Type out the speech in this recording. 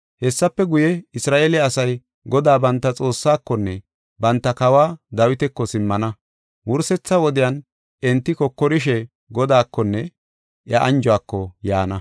Hessafe guye, Isra7eele asay Godaa banta Xoossaakonne banta kawa Dawitako simmana. Wursetha wodiyan enti kokorishe, Godaakonne iya anjuwako yaana.